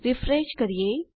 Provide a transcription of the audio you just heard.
refresh કરીએ